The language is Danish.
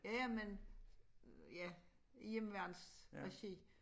Ja men ja hjemmeværnsregi